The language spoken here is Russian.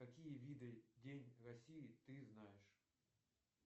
какие виды день россии ты знаешь